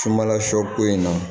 Sunbala sɔ ko in na